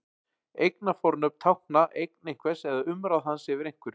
Eignarfornöfn tákna eign einhvers eða umráð hans yfir einhverju.